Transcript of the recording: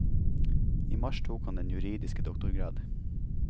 I mars tok han den juridiske doktorgrad.